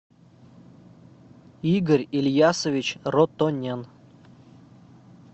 игорь ильясович ротонен